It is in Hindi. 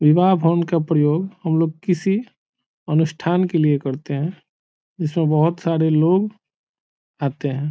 विवाह भवन का प्रयोग हम लोग किसी अनुष्ठान के लिए करते है जिसमे बोहोत सारे लोग आते हैं ।